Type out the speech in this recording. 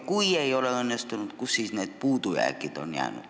Kui ei ole õnnestunud, siis kus on puudujäägid?